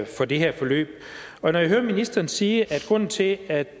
for det her forløb og når jeg hører ministeren sige at grunden til at